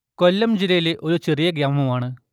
കൊല്ലം ജില്ലയിലെ ഒരു ചെറിയ ഗ്രാമമാണ്